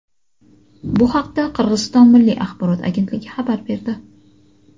Bu haqda Qirg‘iziston milliy axborot agentligi xabar berdi.